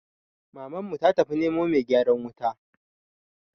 Mamanmu ta tafi nemo mai gyaran wuta